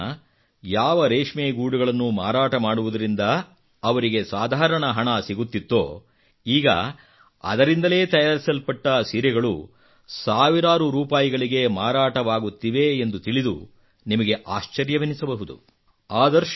ಈಮುನ್ನ ಯಾವ ರೇಷ್ಮೆಗೂಡುಗಳನ್ನು ಮಾರಾಟ ಮಾಡುವುದರಿಂದ ಅವರಿಗೆ ಸಾಧಾರಣ ಹಣ ಸಿಗುತ್ತಿತ್ತೋ ಈಗ ಅದರಿಂದಲೇ ತಯಾರಿಸಲ್ಪಟ್ಟ ಸೀರೆಗಳು ಸಾವಿರಾರು ರೂಪಾಯಿಗಳಿಗೆ ಮಾರಾಟವಾಗುತ್ತಿವೆ ಎಂದು ತಿಳಿದು ನಿಮಗೆ ಆಶ್ಚರ್ಯವೆನಿಸಬಹುದು